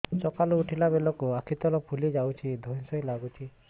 ସକାଳେ ଉଠିଲା ବେଳକୁ ଆଖି ତଳ ଫୁଲି ଯାଉଛି ଧଇଁ ସଇଁ ଲାଗୁଚି